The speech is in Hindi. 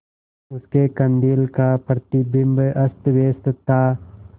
उसके कंदील का प्रतिबिंब अस्तव्यस्त था